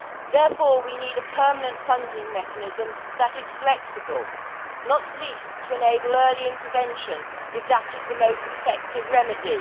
Therefore, we need a permanent funding mechanism that is flexible, not least to enable early intervention if that is the most effective remedy.